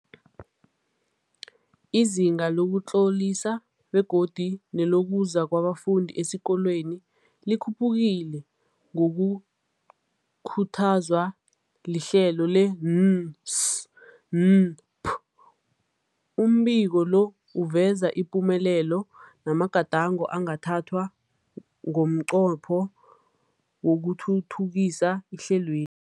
Izinga lokuzitlolisa begodu nelokuza kwabafundi esikolweni likhuphukile ngokukhuthazwa lihlelo le-NSNP. Umbiko lo uveza ipumelelo namagadango angathathwa ngomnqopho wokuthuthukisa ihlelweli.